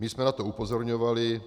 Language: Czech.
My jsme na to upozorňovali.